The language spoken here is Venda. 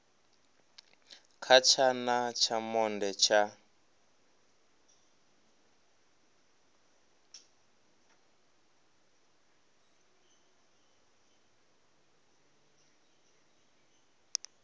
kha tshana tsha monde tsha